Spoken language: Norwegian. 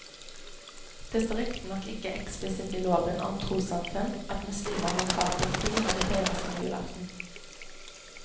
Det står riktignok ikke eksplisitt i loven om trossamfunn at muslimer har krav på fri når de feirer sin julaften.